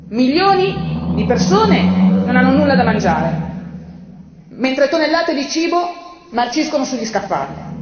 Milioni di persone non hanno nulla da mangiare, mentre tonnellate di cibo marciscono sugli scaffali.